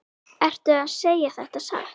Ertu að segja þetta satt?